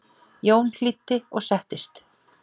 Jón hlýddi og settist.